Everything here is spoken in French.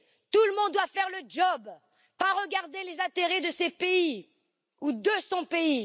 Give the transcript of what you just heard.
Tout le monde doit faire le job, ne pas regarder les intérêts de ces pays ou de son propre pays.